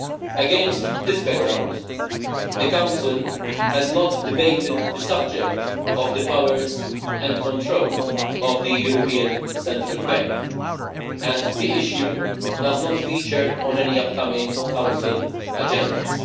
Against this background, the Council has not debated the subject of the powers and control of the European Central Bank and the issue does not feature on any upcoming Council agendas.